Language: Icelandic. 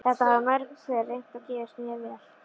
Þetta hafa mörg pör reynt og gefist mjög vel.